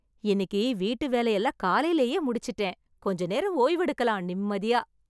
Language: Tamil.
இன்னிக்கு வீட்டு வேலை எல்லாம் காலைலயே முடிச்சுட்டேன். கொஞ்ச நேரம் ஓய்வெடுக்கலாம் நிம்மதியா.